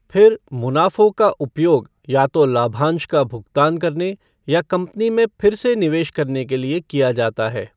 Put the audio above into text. फिर मुनाफों का उपयोग या तो लाभांश का भुगतान करने या कंपनी में फिर से निवेश करने के लिए किया जाता है।